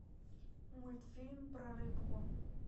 мультфильм про рыбку